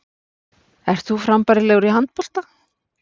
Ert þú frambærilegur í handbolta?